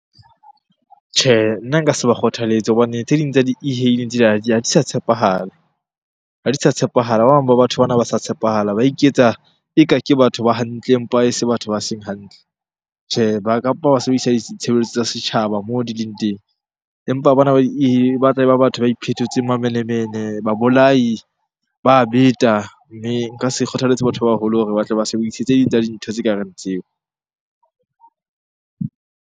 Tjhe, nna nka se ba kgothaletse hobane tse ding tsa di e-hailing tsenana ha di sa tshepahala, ha di sa tshepahala. Ba bang ba batho bana ha ba sa tshepahala, ba iketsa eka ke batho ba hantle empa e se batho ba seng hantle. Tjhe, ba kampa ba sebedisa ditshebeletso tsa setjhaba moo di leng teng. Empa bona ba batla e ba batho ba iphetotseng mamenemene, babolai, ba beta. Mme nka se kgothalletse batho ba baholo hore ba tle ba sebedise tse ding tsa dintho tse kareng tseo.